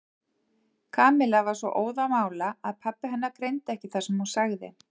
Kamilla var svo óðamála að pabbi hennar greindi ekki það sem hún sagði.